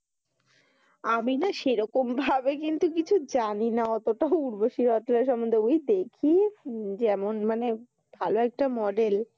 আমি না সেরকম ভাবে কিন্তু কিছু জানি না অতোটা উরবশি রতেলা সম্বন্ধে বুজেছ কি যেমন মানে খুব ভালো একটা মডেল ।